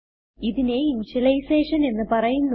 ഇതിനെ ഇനിഷ്യലൈസേഷൻ എന്ന് പറയുന്നു